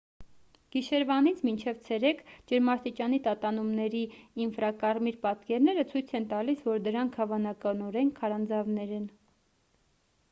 գիշերվանից մինչև ցերեկ ջերմաստիճանի տատանումների ինֆրակարմիր պատկերները ցույց են տալիս որ դրանք հավանականորեն քարանձավներ են